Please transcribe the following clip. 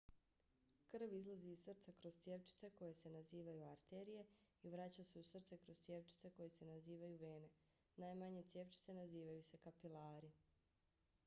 krv izlazi iz srca kroz cjevčice koje se nazivaju arterije i vraća se u srce kroz cjevčice koje se nazivaju vene. najmanje cjevčice nazivaju se kapilari